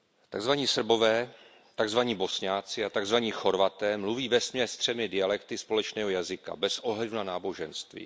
Takzvaní Srbové, takzvaní Bosňané a takzvaní Chorvaté mluví vesměs třemi dialekty společného jazyka bez ohledu na náboženství.